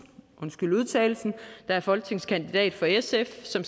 der er folketingskandidat for sf og som